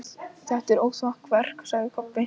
Þetta er óþokkaverk, sagði Kobbi.